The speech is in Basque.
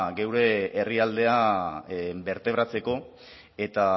gure herrialdea bertebratzeko eta